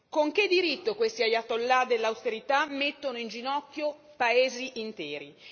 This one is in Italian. Con che diritto questi ayatollah dell'austerità mettono in ginocchio popoli interi?